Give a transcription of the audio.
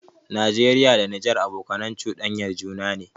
Nageriya da Nijar abokanai chuɗanyan juna ne